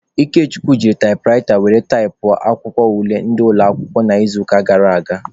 Ikechukwu jiri taịpụraịta were taịpụọ akwụkwọ ule ndị ụlọakwụkwọ n'izuụka gara aga.